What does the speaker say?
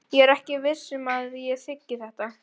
Ég er ekki viss um að ég þiggi þetta.